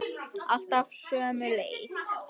Alltaf sömu leið.